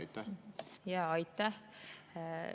Aitäh!